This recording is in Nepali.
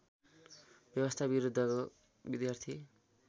व्यवस्था विरुद्धको विद्यार्थी